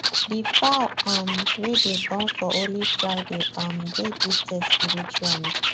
the fowl um wey dey born for only friday um dey gifted spiritually